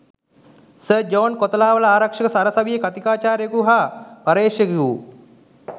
sir John Kotelawala ආරක්ෂක සරසවියේ කථිකාචාර්යවරයකු හා පර්යේෂකයකු වූ